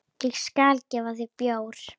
Ég skal gefa þér bjór.